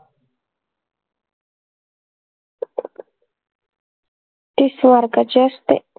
तीस mark का ची असते